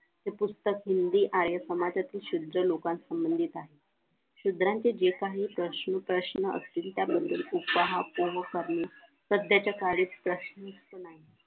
ते पुस्तक हिंदी आहे समाजातील शुद्ध लोकांसंबंधी आहे शूद्रांचे जे काही प्रश्न असतील त्याबद्दल करणे सध्याच्या काळी